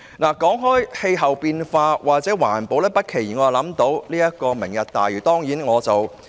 談到氣候變化或環保，我不期然想起"明日大嶼"。